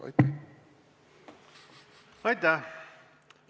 Aitäh!